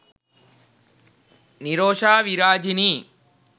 nirosha virajini